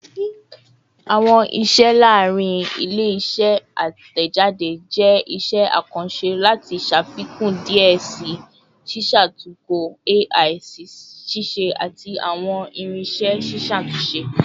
Awọn iṣẹ laarin ile-iṣẹ atẹjade jẹ iṣẹ akanṣe lati ṣafikun diẹ sii ṣiṣatunkọ AI-ṣiṣẹ ati awọn irinṣẹ ṣiṣatunṣe